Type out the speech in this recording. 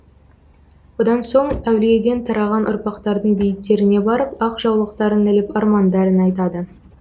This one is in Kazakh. одан соң әулиеден тараған ұрпақтардың бейіттеріне барып ақ жаулықтарын іліп армандарын айтады